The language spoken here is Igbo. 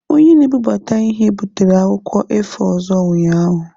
Onye na-ebubata ihe butere akwụkwọ A4 ọzọ ụnyaahụ.